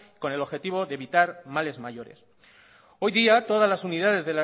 con el objetivo de evitar males mayores hoy día todas las unidades